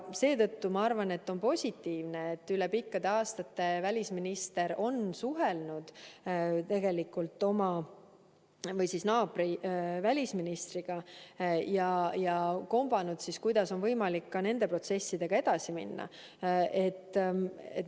Seetõttu ma arvan, et on positiivne, et üle pikkade aastate välisminister on suhelnud naabri välisministriga ja kombanud, kas on võimalik nende protsessidega edasi minna.